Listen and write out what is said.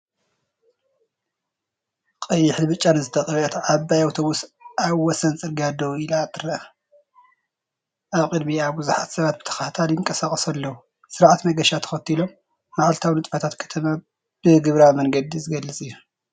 ቀይሕን ብጫን ዝተቐብአት ዓባይ ኣውቶቡስ ኣብ ወሰን ጽርግያ ደው ኢላ ትረአ፤ ኣብ ቅድሚኣ ብዙሓት ሰባት ብተኸታታሊ ይንቀሳቐሱ ኣለዉ፡ ስርዓት መገሻ ተኸቲሎም። መዓልታዊ ንጥፈታት ከተማ ብግብራዊ መንገዲ ዝገልጽ እዩ።